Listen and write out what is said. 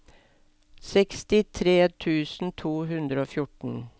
sekstitre tusen to hundre og fjorten